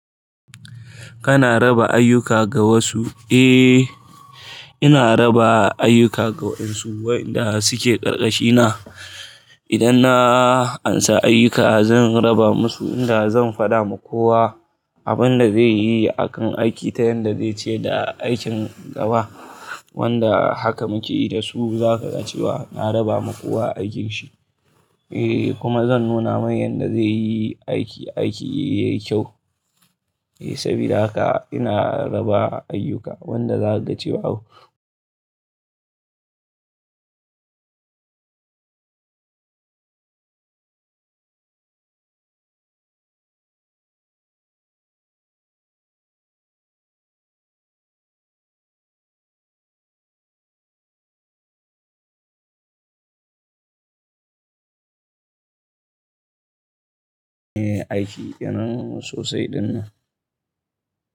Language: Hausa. Kana raba ayyuka ga wasu? Eh, ina raba ayyuka ga wasu, waɗanda suke ƙarƙashina. Idan na ansa ayyuka zan raba musu, inda zan faɗa ma kowa abin da zai yi akan aiki ta yanda zai ce da aikin gaba. Wanda haka muke yi da su, za ka ga cewa na raba ma kowa aikinshi. Eh kuma zan nuna mai yanda zai yi aiki, aiki yayi kyau. Eh sabida haka ina raba ayyuka, wanda za ka ga cewa au. Eh aiki kenan sosai dinnan.